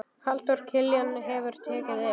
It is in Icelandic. Halldór Kiljan hefur tekið yfir.